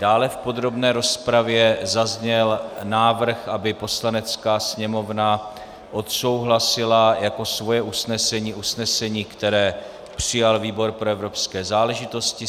Dále v podrobné rozpravě zazněl návrh, aby Poslanecká sněmovna odsouhlasila jako svoje usnesení usnesení, které přijal výbor pro evropské záležitosti.